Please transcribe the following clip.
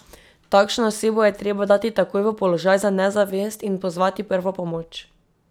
Takšno osebo je treba dati takoj v položaj za nezavest in pozvati prvo pomoč.